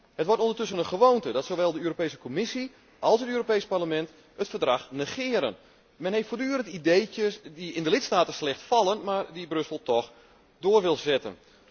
Het wordt ondertussen een gewoonte dat zowel de Europese Commissie als het Europees Parlement het Verdrag negeren. Men heeft voortdurend ideetjes die in de lidstaten slecht vallen, maar die Brussel toch wil doorzetten.